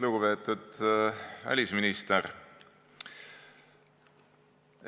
Lugupeetud välisminister!